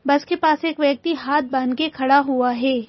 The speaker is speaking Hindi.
बस के पास एक व्यक्ति हाथ बांध के खड़ा हुआ है।